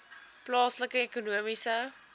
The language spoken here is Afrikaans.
plaaslike ekonomiese